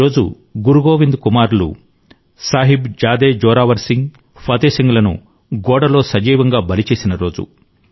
ఈ రోజు గురు గోవింద్ కుమారులు సాహిబ్ జాదే జొరావర్ సింగ్ ఫతే సింగ్ లను గోడలో సజీవంగా బలి చేసినరోజు